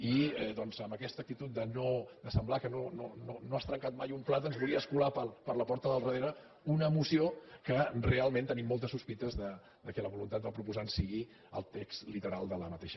i doncs amb aquesta actitud de semblar que no has trencat mai un plat ens volies colar per la porta del darrera una moció que realment tenim moltes sos·pites que la voluntat del proposant sigui el text literal d’aquesta